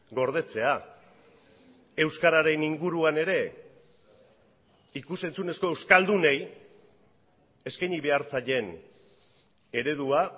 gordetzea euskararen inguruan ere ikus entzunezko euskaldunei eskaini behar zaien eredua